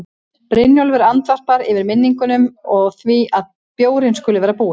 Brynjólfur andvarpar, yfir minningunum og því að bjórinn skuli vera búinn.